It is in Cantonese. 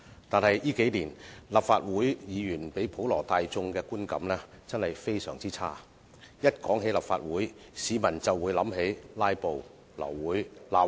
但是，近年來，立法會議員給普羅大眾的觀感真的非常差，一談及立法會，市民便會想起"拉布"、流會、吵架、扔東西。